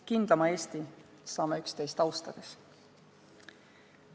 Kindlama Eesti saame üksteist austades.